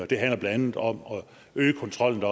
det handler blandt andet om at øge kontrollen